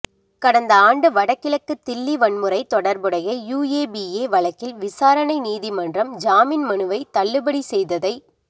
கடந்த ஆண்டு வடகிழக்கு தில்லி வன்முறை தொடா்புடை யுஏபிஏ வழக்கில் விசாரணை நீதிமன்றம் ஜாமீன் மனுவைத் தள்ளுபடி செய்ததை